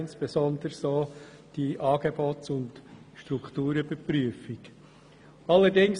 Insbesondere war eine Angebots- und Strukturüberprüfung nötig.